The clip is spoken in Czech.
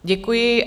Děkuji.